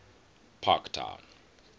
parktown